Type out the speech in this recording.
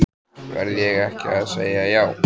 Verð ég ekki að segja já?